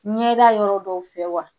Ɲɛda yɔrɔ dɔw fɛ wa